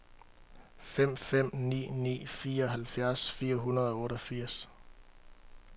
fem fem ni ni fireoghalvfjerds fire hundrede og otteogfirs